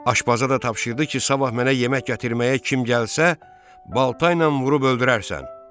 Aşpaza da tapşırdı ki, sabah mənə yemək gətirməyə kim gəlsə, baltayla vurub öldürərsən.